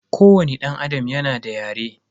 Kowani danAdam yana da yare.